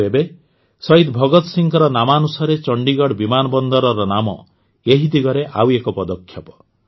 ଆଉ ଏବେ ଶହିଦ୍ ଭଗତ ସିଂହଙ୍କ ନାମାନୁସାରେ ଚଣ୍ଡିଗଡ଼ ବିମାନ ବନ୍ଦରର ନାମ ଏହି ଦିଗରେ ଆଉ ଏକ ପଦକ୍ଷେପ